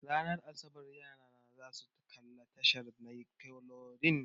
Ranar asabar yarana zasu kalla tashar nickelodeon.